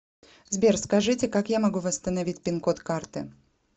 сбер скажите как я могу восстановить пин код карты